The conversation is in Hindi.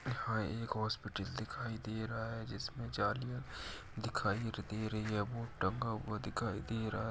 यहां एक हॉस्पिटल दिखाई दे रहा है जिसमें जलियां दिखाई दे रही है। बोर्ड टंगा हुआ दिखाई दे रहा --